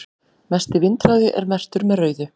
mesti vindhraði er merktur með rauðu